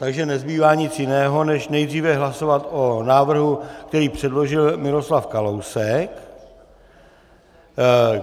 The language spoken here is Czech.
Takže nezbývá nic jiného než nejdříve hlasovat o návrhu, který předložil Miroslav Kalousek.